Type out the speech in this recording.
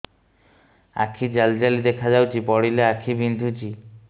ଆଖି ଜାଲି ଜାଲି ଦେଖାଯାଉଛି ପଢିଲେ ଆଖି ବିନ୍ଧୁଛି